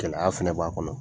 Keleya fɛnɛ b'a kɔnɔ.